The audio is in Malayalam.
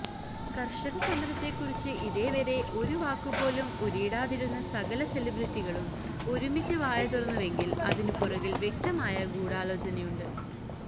കര്ഷകസമരത്തെക്കുറിച്ച് ഇതേവരെ ഒരു വാക്കുപോലും ഉരിയാടാതിരുന്ന സകല സെലിബ്രിറ്റികളും ഒരുമിച്ച് വായതുറന്നുവെങ്കില് അതിനുപുറകില് വ്യക്തമായ ഗൂഢാലോചനയുണ്ട്